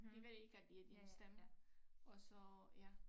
De ved ikke at det er din stemme og så ja